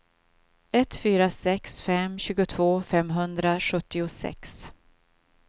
ett fyra sex fem tjugotvå femhundrasjuttiosex